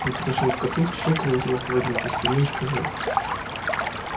он подошёл к коту щёлкнул его по выгнутой спине и сказал